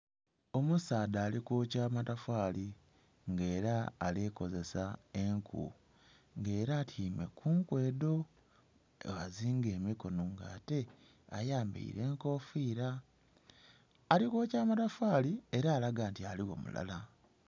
Omusaadha ali kwokya amatafali nga era alikozesa enku nga era atyaime ku nku edho ghazinga emikonho nga ate ayambaire enkofira, ali kwokya amatafali era alaga nti aligho mulala.